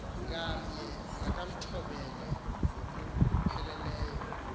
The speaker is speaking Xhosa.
ngamnye makamthobele ngokupheleleyo